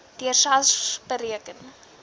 deur sars bereken